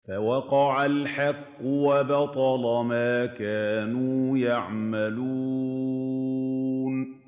فَوَقَعَ الْحَقُّ وَبَطَلَ مَا كَانُوا يَعْمَلُونَ